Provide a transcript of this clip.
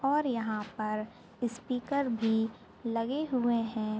और यहा पर स्पीकर भी लगे हुए है।